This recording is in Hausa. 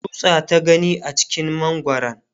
tsutsa ta gani a cikin mangwaran